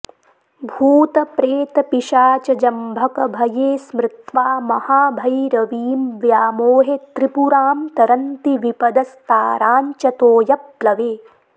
भूतप्रेतपिशाचजम्भकभये स्मृत्वा महाभैरवीं व्यामोहे त्रिपुरां तरन्ति विपदस्ताराञ्च तोयप्लवे